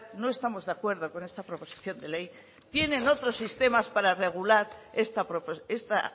no estamos de acuerdo con esta proposición de ley tienen otros sistemas para regular esta